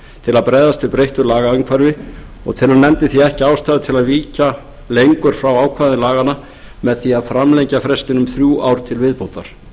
að bregðast við breyttu lagaumhverfi og telur nefndin því ekki ástæðu til að víkja lengur frá ákvæðum laganna með því að framlengja frestinn um þrjú ár til viðbótar